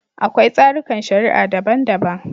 Akwai tsarikan shari'a daban-daban.